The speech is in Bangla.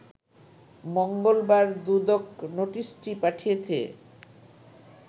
মঙ্গলবার দুদক নোটিশটি পাঠিয়েছে